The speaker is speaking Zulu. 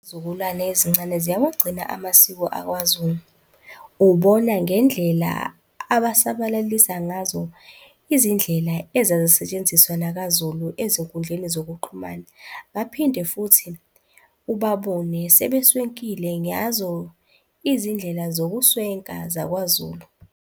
Izizukulwane ezincane ziyawagcina amasiko akwaZulu, ubona ngendlela asabalalisa ngazo izindlela ezazisetshenziswa nakwaZulu ezinkundleni zokuxhumana, baphinde futhi ubabone sebeswenkile ngazo izindlela sokuswenka zakwaZulu.